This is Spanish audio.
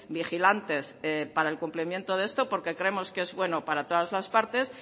vigilantes para el cumplimiento de esto porque creemos que es bueno para todas las partes